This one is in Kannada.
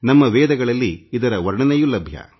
ನಮ್ಮ ವೇದಗಳಲ್ಲಿ ಇದರ ವರ್ಣನೆಯೂ ಲಭ್ಯ